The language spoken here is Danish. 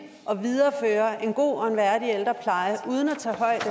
at videreføre en god og værdig ældrepleje uden at tage højde